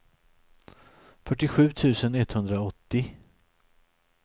fyrtiosju tusen etthundraåttio